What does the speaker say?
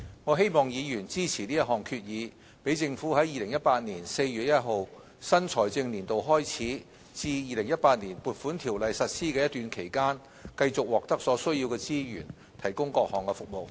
我希望議員支持這項決議，讓政府在2018年4月1日新財政年度開始至《2018年撥款條例》實施的一段期間，繼續獲得所需資源提供各項服務。